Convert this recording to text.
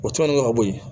O tɔnɔn in kɛ ka bɔ yen